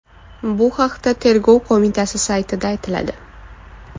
Bu haqda Tergov qo‘mitasi saytida aytiladi .